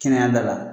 Kɛnɛya da la